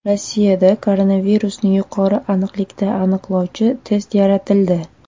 Rossiyada koronavirusni yuqori aniqlikda aniqlovchi test yaratildi.